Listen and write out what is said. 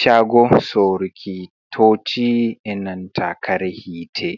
Chago soruki toci e nanta kare hite